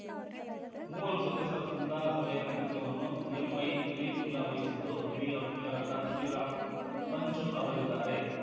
ಮೂವರು ಸದಸ್ಯರ ಸಂಧಾನ ಸಭೆಯ ನೇತೃತ್ವವನ್ನು ಎಂಐ ಖಲೀಫುಲ್ಲಾ ವಹಿಸಿದ್ದು ಹಿರಿಯ ವಕೀಲರಾದ ಶ್ರೀರಾಮ್ ಪಂಚು ಅವರಿದ್ದಾರೆ